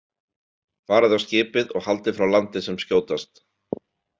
Farið á skipið og haldið frá landi sem skjótast.